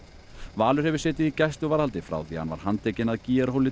Valur hefur setið í gæsluvarðhaldi frá því að hann var handtekinn að